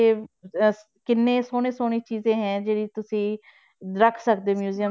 ਤੇ ਅਹ ਕਿੰਨੇ ਸੋਹਣੇ ਸੋਹਣੇ ਚੀਜ਼ਾਂ ਹੈ ਜਿਹੜੀ ਤੁਸੀਂ ਰੱਖ ਸਕਦੇ museum